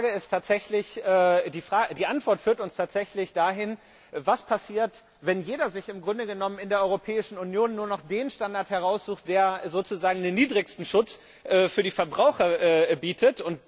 Denn die Antwort führt uns tatsächlich dahin, was passiert, wenn jeder sich im Grunde genommen in der Europäischen Union nur noch den Standard heraussucht, der sozusagen den niedrigsten Schutz für die Verbraucher bietet.